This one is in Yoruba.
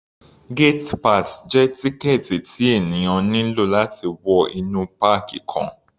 Gate pass jẹ́ tíkẹ̀ẹ̀tì tí ènìyàn nílò láti wọ inú páàkì kan.